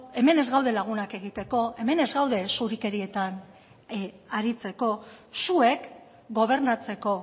hemen ez gaude lagunak egiteko hemen ez gaude zurikerietan aritzeko zuek gobernatzeko